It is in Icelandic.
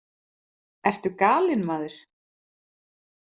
Ertu galinn, maður?